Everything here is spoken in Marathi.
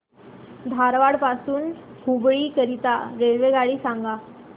धारवाड पासून हुबळी करीता रेल्वेगाडी सांगा